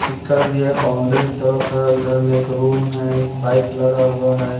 सिक्कड़ भी है बाउंड्री तरफ है उधर में एक रूम है एक बाइक लगा हुआ है।